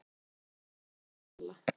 Eitthvað var að hjá Halla.